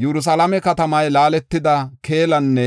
“Yerusalaame katamaa laaletida keelanne